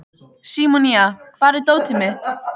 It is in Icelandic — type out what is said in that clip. Símonía, hvar er dótið mitt?